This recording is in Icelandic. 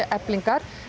Eflingar